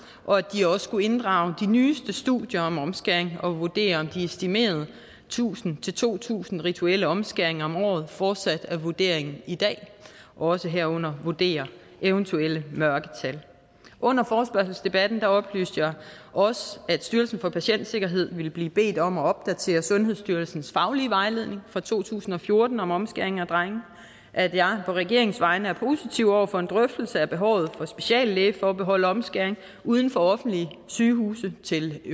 og at de også skulle inddrage de nyeste studier om omskæring og vurdere om de estimerede tusind to tusind rituelle omskæringer om året fortsat er vurderingen i dag også herunder vurdere eventuelle mørketal under forespørgselsdebatten oplyste jeg også at styrelsen for patientsikkerhed ville blive bedt om at opdatere sundhedsstyrelsens faglige vejledning fra to tusind og fjorten om omskæring af drenge at jeg på regeringens vegne er positiv over for en drøftelse af behovet for speciallægeforbehold af omskæring uden for offentlige sygehuse til